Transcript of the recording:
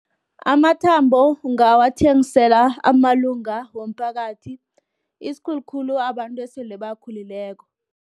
Amathambo, ungawathengisela amalunga womphakathi, isikhulukhulu abantu esele bakhulileko.